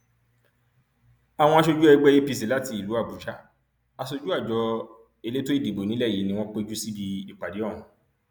àwọn aṣojú ẹgbẹ apc láti ìlú àbújá aṣojú àjọ elétò ìdìbò nílẹ yìí ni wọn péjú síbi ìpàdé ọhún